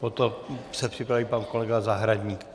Potom se připraví pan kolega Zahradník.